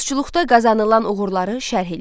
Dulusçuluqda qazanılan uğurları şərh eləyin.